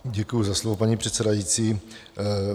Děkuji za slovo, paní předsedající.